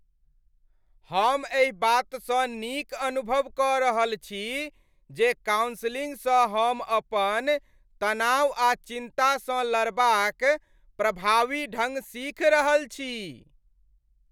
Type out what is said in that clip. हम एहि बातसँ नीक अनुभव कऽ रहल छी जे कॉउन्सलिंगसँ हम अपन तनाव आ चिन्ता सँ लड़बाक प्रभावी ढंग सीखि रहल छी।